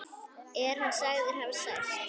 Er hann sagður hafa særst.